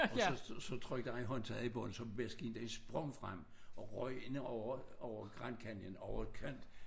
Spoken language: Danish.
Og så så så trykkede han håndtaget i bund så maskinen den sprang frem og røg ind over over Grand Canyon over kant